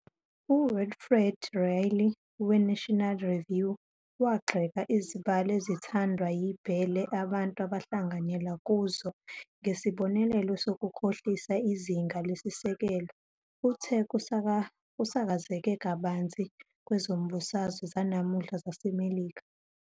UWilfred Reilly we"-National Review" wagxeka izibalo ezithandwa yibhele abantu abahlanganyela kuzo njengesibonelo sokukhohlisa izinga lesisekelo uthe kusakazeke kabanzi kwezombusazwe zanamuhla zaseMelika.